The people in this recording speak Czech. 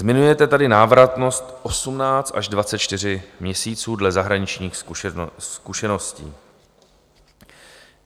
Zmiňujete tady návratnost 18 až 24 měsíců dle zahraničních zkušeností.